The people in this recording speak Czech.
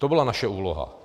To byla naše úloha.